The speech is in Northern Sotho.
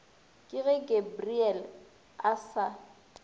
ke ge gabariele a sa